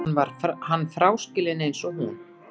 Hann fráskilinn eins og hún.